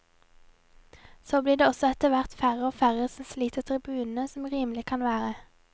Så blir det også etterhvert færre og færre som sliter tribunene, som rimelig kan være.